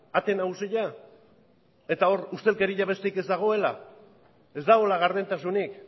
ate nagusia eta hor ustelkeria besterik ez dagoela ez dagoela gardentasunik